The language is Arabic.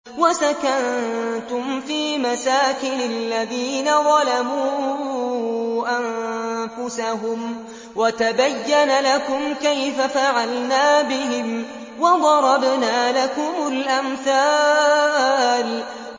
وَسَكَنتُمْ فِي مَسَاكِنِ الَّذِينَ ظَلَمُوا أَنفُسَهُمْ وَتَبَيَّنَ لَكُمْ كَيْفَ فَعَلْنَا بِهِمْ وَضَرَبْنَا لَكُمُ الْأَمْثَالَ